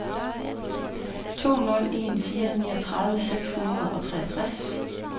to nul en fire niogtredive seks hundrede og treogtres